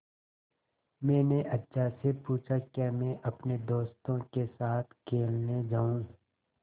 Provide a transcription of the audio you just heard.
मैंने अज्जा से पूछा क्या मैं अपने दोस्तों के साथ खेलने जाऊँ